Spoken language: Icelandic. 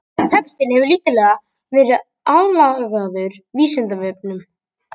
Textinn hefur lítillega verið aðlagaður Vísindavefnum.